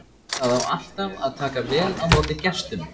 Það á alltaf að taka vel á móti gestum.